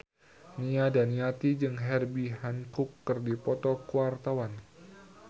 Nia Daniati jeung Herbie Hancock keur dipoto ku wartawan